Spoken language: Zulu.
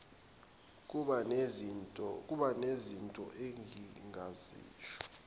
kuba nezinto engingazisho